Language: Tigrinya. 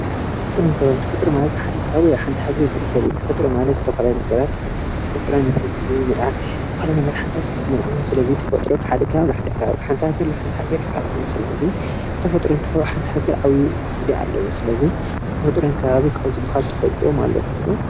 ተፈጥሮን ከባብን ተፈጥሮ ማለት ሓደ ከባቢ ሓንቲ ሃገር ዝርከብ እዩ:: ንዝተፈላለዩ መድሓኒታት ይጠቕሙና እዮም፡፡ ስለዚ ተፈጥሮ ካብ ሓደ ከባቢ ናብ ሓደ ከባቢ ካብ ሓንቲ ሃገር ናብ ሓንቲ ሃገር ይፈላለ እዩ፡፡ ስለዚ ተፈጥሮ ኣብ ሓንቲ ሃገር ዓብይ ግደ ኣለዎ፡፡ ስለዚ ተፈጥሮን ከባብን ካብ ዝባሃሉ ትፈልጥዎም ኣለኩም ዶ?